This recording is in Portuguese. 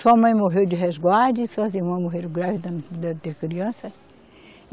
Sua mãe morreu de resguarde, suas irmãs morreram grávida não puderam ter criança.